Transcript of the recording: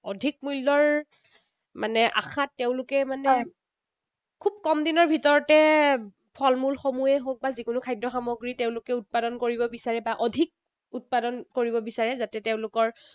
অধিক মূল্যৰ মানে আশাত তেওঁলোকে মানে খুব কম দিনৰ ভিতৰতে ফলমূলসমূহেই হওঁক বা যিকোনো খাদ্য সামগ্ৰী তেঁওলোকে উৎপাদন কৰিব বিচাৰে, বা অধিক উৎপাদন কৰিব বিচাৰে। যাতে তেওঁলোকৰ